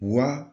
Wa